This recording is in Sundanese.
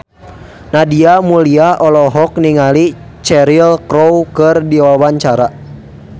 Nadia Mulya olohok ningali Cheryl Crow keur diwawancara